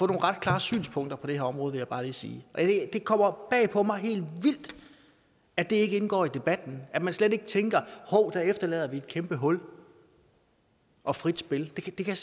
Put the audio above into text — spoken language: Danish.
ret klare synspunkter på det her område vil jeg bare lige sige og det kommer helt bag på mig at det ikke indgår i debatten og at man slet ikke tænker hov der efterlader vi et kæmpe hul og frit spil det kan